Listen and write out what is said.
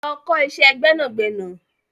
Lọ ọ kọ́ iṣẹ́ gbẹ́nàgbẹnà.